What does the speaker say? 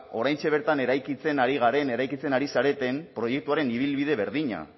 oraintxe bertan eraikitzen ari garen eraikitzen ari zareten proiektuaren ibilbide berdina